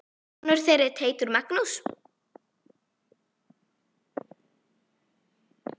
Sonur þeirra er Teitur Magnús.